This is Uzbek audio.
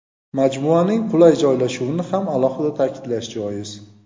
Majmuaning qulay joylashuvini ham alohida ta’kidlash joiz.